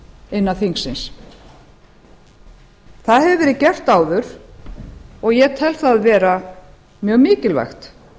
innan þingsins það hefur verið gert að og ég tel það vera mjög mikilvægt